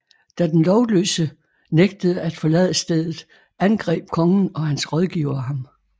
Da den lovløse nægtede at forlade stedet angreb kongen og hans rådgivere ham